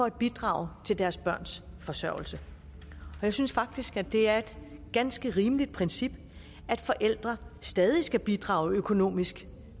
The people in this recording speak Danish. at bidrage til deres børns forsørgelse og jeg synes faktisk at det er et ganske rimeligt princip at forældre stadig skal bidrage økonomisk